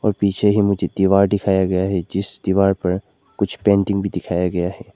पीछे ही मुझे दीवार दिखाया गया है जिस दीवार पर कुछ पेंटिंग भी दिखाया गया है।